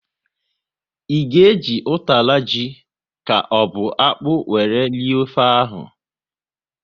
Ị ga e ji utara ji ka ọ bụ akpụ wéré rie ofe ahụ?